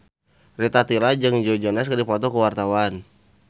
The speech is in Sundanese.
Rita Tila jeung Joe Jonas keur dipoto ku wartawan